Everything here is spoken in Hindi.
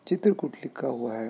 चित्र कूट लिखा हुआ है ।